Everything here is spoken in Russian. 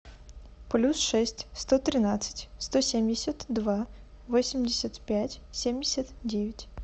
плюс шесть сто тринадцать сто семьдесят два восемьдесят пять семьдесят девять